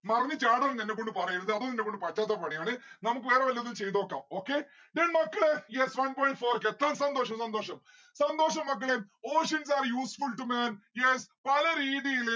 മറിഞ് ചാടാനൊന്നും എന്നെക്കൊണ്ട് പറയരുത് അത് എന്നെക്കൊണ്ട് പറ്റാത്ത പണിയാണ് നമ്മുക്ക് വേറെ വേറെ വല്ലതും ചെയ്തതൊക്കെ okay then മക്കളെ ya one point four സന്തോഷം സന്തോഷം സന്തോഷം മക്കളെ oceans are useful to man. yes പല രീതിയില്